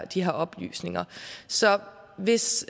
de her oplysninger så hvis